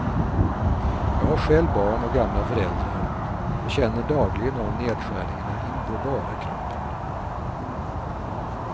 Jag har själv barn och gamla föräldrar och känner dagligen av nedskärningarna in på bara kroppen.